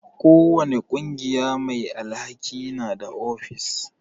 Ko wani ƙungiya mai alhaki na da ofis.